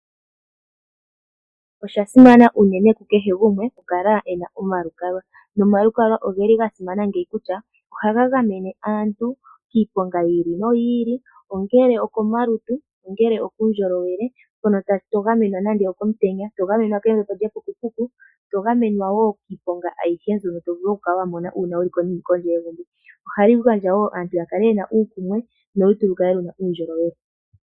Osha simana unene kukehe gumwe okukala e na omalukalwa. Omalukalwa oga simana ngeyi kutya ohaga gamene aantu kiiponga yi ili noyi ili, ongele okomalutu, ongele opuundjolowele. Mpono to gamenwa nande okomutenya, to gamenwa kembepo lyepukupuku, to gamenwa wo kiiponga ayihe mbyono to vulu okukala wa mona uuna wu li kondje yegumbo. Ohalu gandja wo aantu ya kale ye na uukumwe nolutu lu kale lu na uundjolowele.